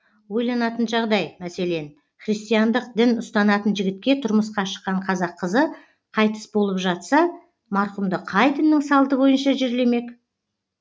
ойланатын жағдай мәселен христиандық дін ұстанатын жігітке тұрмысқа шыққан қазақ қызы қайтыс болып жатса марқұмды қай діннің салты бойынша жерлемек